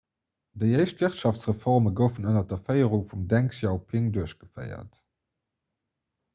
déi éischt wirtschaftsreforme goufen ënner der féierung vum deng xiaoping duerchgeféiert